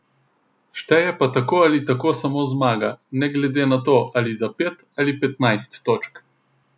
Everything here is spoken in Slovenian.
Šteje pa tako ali tako samo zmaga, ne glede na to, ali za pet ali petnajst točk.